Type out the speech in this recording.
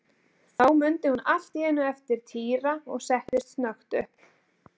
Þá mundi hún allt í einu eftir Týra og settist snöggt upp.